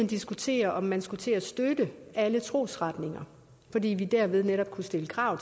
diskutere om man skulle til at støtte alle trosretninger fordi vi derved netop kunne stille krav